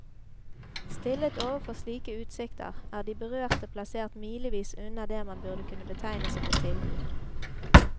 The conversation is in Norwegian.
Stillet overfor slike utsikter, er de berørte plassert milevis unna det man burde kunne betegne som et tilbud.